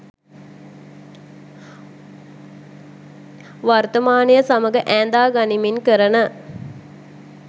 වර්තමානය සමඟ ඈඳා ගනිමින් කරන